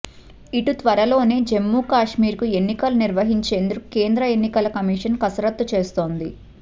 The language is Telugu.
ఇటు త్వరలోనే జమ్మూకశ్మీర్ కు ఎన్నికలు నిర్మహించేందుకు కేంద్ర ఎన్నికల కమిషన్ కసరత్తు చేస్తోంది